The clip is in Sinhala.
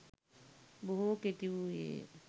බොහෝ කෙටි වූයේය.